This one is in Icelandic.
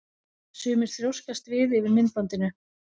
Sumir þrjóskast við yfir myndbandinu.